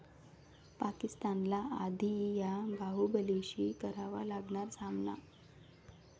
पाकिस्तानला आधी 'या' बाहुबलींशी करावा लागणार सामना!